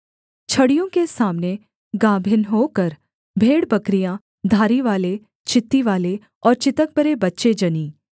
छड़ियों के सामने गाभिन होकर भेड़बकरियाँ धारीवाले चित्तीवाले और चितकबरे बच्चे जनीं